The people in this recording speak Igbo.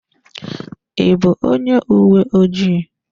I bụ onye uwe ojii?